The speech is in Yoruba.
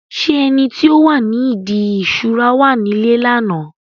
ṣé ẹni tí ó wà ní ìdí ìṣura wà nílé ní àná?